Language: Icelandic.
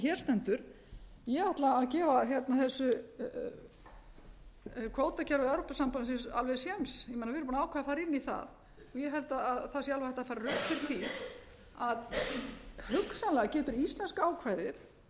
hér stendur ég ætla að gefa þessu kvótakerfi evrópusambandsins alveg sent við erum búin að ákveða að fara inn í það og ég held að það sé alveg hægt að færa rök fyrir því að hugsanlega getur íslenska ákvæðið ef það